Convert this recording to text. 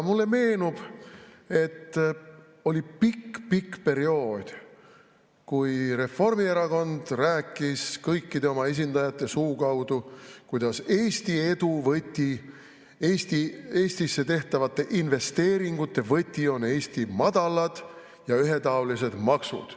Mulle meenub, et oli pikk-pikk periood, kui Reformierakond rääkis kõikide oma esindajate suu kaudu, kuidas Eesti edu võti, Eestisse tehtavate investeeringute võti on Eesti madalad ja ühetaolised maksud.